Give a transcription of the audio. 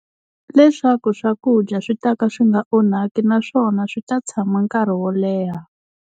Leswaku swakudya swi ta ka swi nga onhaki naswona swi ta tshama nkarhi wo leha.